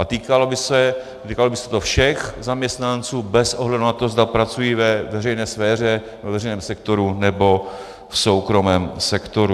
A týkalo by se to všech zaměstnanců bez ohledu na to, zda pracují ve veřejné sféře, ve veřejném sektoru, nebo v soukromém sektoru.